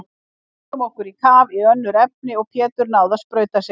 Við stungum okkur á kaf í önnur efni og Pétur náði að sprauta sig.